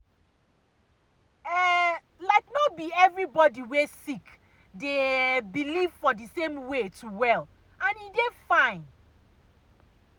um like no be all everybody wey sick dey ah believe for the same way to well and e dey fine.